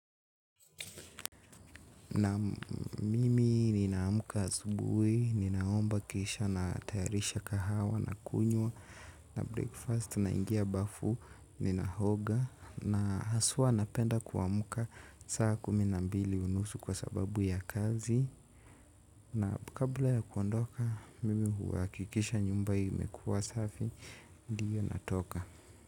Na mimi ninaamka asubuhi ninaomba kisha natayarisha kahawa na kunywa na breakfast na ingia bafu ninaoga na haswa napenda kuamuka saa kumi na mbili unusu kwa sababu ya kazi. Na kabla ya kuondoka mimi huakikisha nyumbai umekuwa safi ndio natoka.